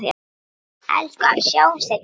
Elsku afi, sjáumst seinna.